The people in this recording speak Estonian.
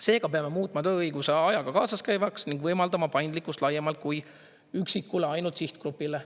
Seega peame muutma tööõiguse ajaga kaasas käivaks ning võimaldama paindlikkust laiemalt kui üksikule ainult sihtgrupile.